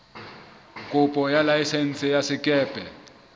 kopo ya laesense ya sekepe